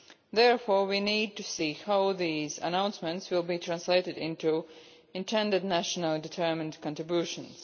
Therefore, we need to see how these announcements will be translated into intended nationally determined contributions.